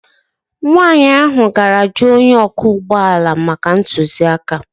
Nwanyị ahụ gara jụọ onye ọkwọ ụgbọ ala maka ntụziaka